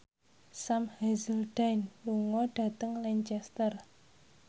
Sam Hazeldine lunga dhateng Lancaster